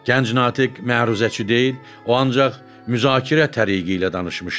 Gənc natiq məruzəçi deyil, o ancaq müzakirə tərzi ilə danışmışdı.